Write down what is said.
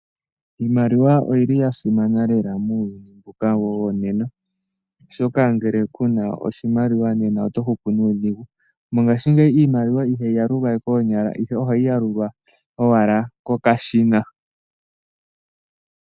Iimaliwa oyi li ya simana lela muuyuni mbuka wonena, oshoka ngele ku na oshimaliwa nena oto hupu nuudhigu. Mongashingeyi iimaliwa ihayi yalulwa we koonyala ihe ihayi yalulwa owala kokashina.